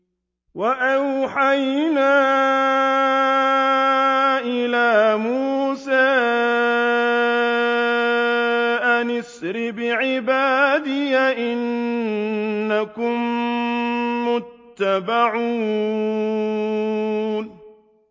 ۞ وَأَوْحَيْنَا إِلَىٰ مُوسَىٰ أَنْ أَسْرِ بِعِبَادِي إِنَّكُم مُّتَّبَعُونَ